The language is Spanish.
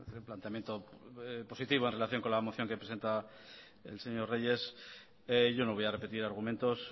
el planteamiento positivo en relación con la moción que presentaba el señor reyes yo no voy a repetir argumentos